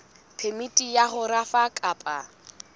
phemiti ya ho rafa kapa